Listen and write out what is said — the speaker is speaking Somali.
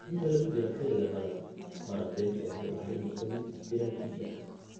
Inta lagu jiro xilliga qallalan, waraabintu waxay u baahan tahay inay noqoto mid istiraatiiji ah.